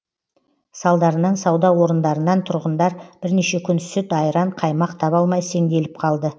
салдарынан сауда орындарынан тұрғындар бірнеше күн сүт айран қаймақ таба алмай сеңделіп қалды